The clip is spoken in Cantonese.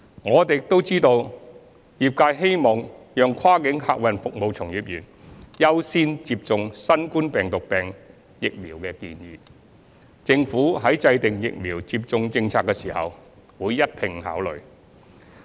我們亦知悉業界希望讓跨境客運服務從業員優先接種新冠病毒病疫苗的建議，政府在制訂疫苗接種政策時會一併考慮。